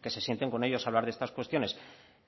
que se sienten con ellos a hablar de estas cuestiones